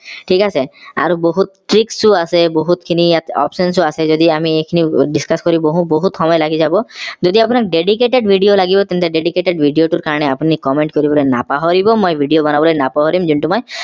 ঠিক আছে আৰু বহুত tricks ও আছে ইয়াত বহুত খিনি ইয়াত options চো আছে যদি আমি এইখিনি discuss কৰি বহো বহুত সময় লাগি যাব যদি আপোনাক dedicated video লাগিব তেন্তে dedicated টোৰ কাৰণে আপুনি comment কৰিবলে নাপাহৰিব মই video বনাবলে নাপাহৰিম যোনটো মই